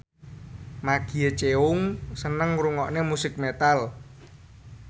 Maggie Cheung seneng ngrungokne musik metal